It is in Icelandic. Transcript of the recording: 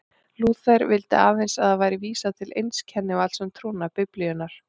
Lúther vildi að aðeins væri vísað til eins kennivalds um trúna, Biblíunnar.